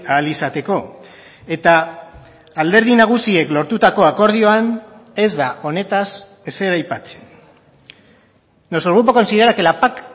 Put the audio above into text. ahal izateko eta alderdi nagusiek lortutako akordioan ez da honetaz ezer aipatzen nuestro grupo considera que la pac